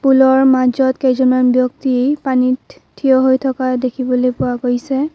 পুলৰ মাজত কেইজনমান ব্যক্তি পানীত থিয় হৈ থকা দেখিবলৈ পোৱা গৈছে।